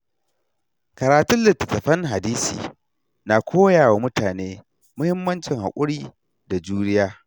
Karatun littattafan hadisi na koya wa mutane muhimmancin haƙuri da juriya.